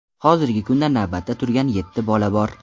Hozirgi kunda navbatda turgan yetti bola bor.